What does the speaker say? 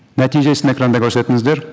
нәтижесін экранда көрсетіңіздер